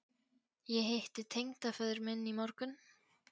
Ég hitti tengdaföður minn í morgun